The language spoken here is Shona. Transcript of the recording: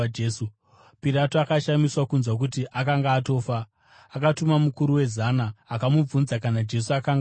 Pirato akashamiswa kunzwa kuti akanga atofa. Akatuma mukuru wezana, akamubvunza kana Jesu akanga afa.